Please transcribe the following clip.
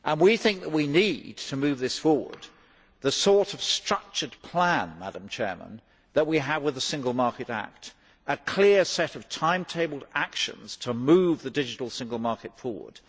We think that we need to move this forward with the sort of structured plan that we have with the Single Market Act a clear set of timetabled actions to move the digital single market forward.